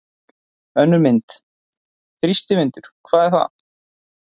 Önnur mynd: Þrýstivindur- hvað er það?